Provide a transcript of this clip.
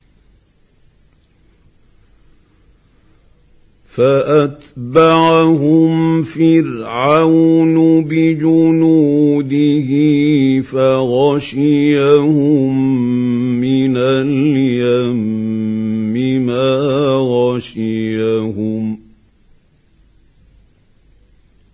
فَأَتْبَعَهُمْ فِرْعَوْنُ بِجُنُودِهِ فَغَشِيَهُم مِّنَ الْيَمِّ مَا غَشِيَهُمْ